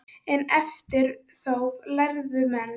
En eftir þóf lærðu menn.